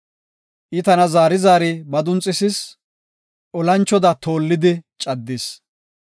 I tana zaari zaari madunxisis; olanchoda toollidi caddis.